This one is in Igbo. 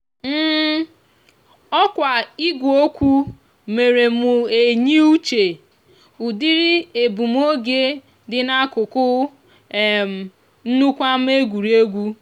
òkwa igweokwu mere mú eyiuche. údiri egbumoge di n'akúkú um nnukwu ama egwuregwu.